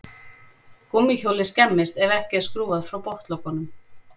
Gúmmíhjólið skemmist ef ekki er skrúfað frá botnlokunum.